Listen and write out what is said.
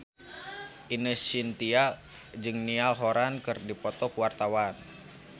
Ine Shintya jeung Niall Horran keur dipoto ku wartawan